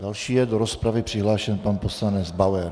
Další je do rozpravy přihlášen pan poslanec Bauer.